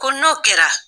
Ko n'o kɛra